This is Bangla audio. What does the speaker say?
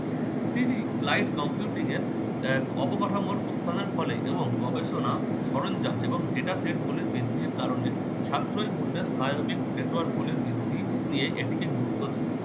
তিনি clight computing এর এক অবকাঠামোর উত্থানের ফলে এবং গবেষণা সরঞ্জাম এবং data set গুলির বৃদ্ধির কারণে সাশ্রয়ী মূল্যের bionic network গুলির বৃদ্ধি নিয়ে এটিকে গুরুত্ব দেয়।